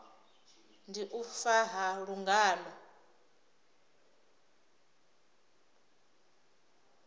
ndi u fa ha lungano